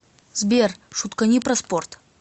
сбер шуткани про спорт